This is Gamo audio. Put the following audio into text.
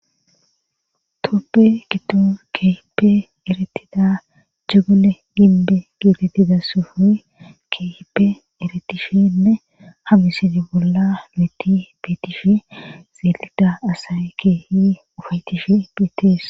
tophe giddo keehipe erettida jagole gimbbe geetettida sohoy keehippe erettishenne ha ,isile bolla keehippe beettishe xeeelida asay keehippe ufayettishe beetteess